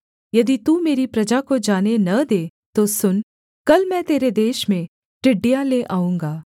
यदि तू मेरी प्रजा को जाने न दे तो सुन कल मैं तेरे देश में टिड्डियाँ ले आऊँगा